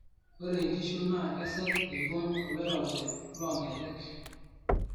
ore inkishu naa kesej eibong oloirobi loo nkejek